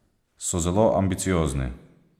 So zelo ambiciozni.